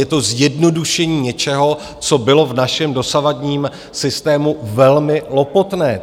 Je to zjednodušení něčeho, co bylo v našem dosavadním systému velmi lopotné.